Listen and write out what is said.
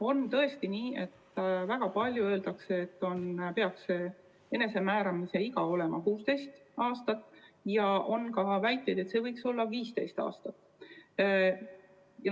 On tõesti nii, et väga palju öeldakse, et enesemääramise iga peaks olema 16. eluaasta, ja on ka väiteid, et see võiks olla 15. eluaasta.